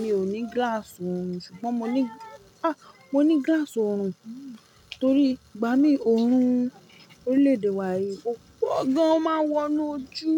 Mi ò ní gíláàsì oorun, ṣùgbọ́n mo ní, a! Mo ní gíláàsì oorun torí ìgbà mí oorun orílẹ̀ èdè wa yìí ó pó gan o máa ń wọ inú ojú.